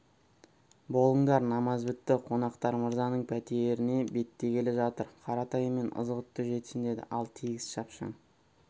болыңдар намаз бітті қонақтар мырзаның пәтеріне беттегелі жатыр қаратай мен ызғұтты жетсін деді ал тегіс шапшаң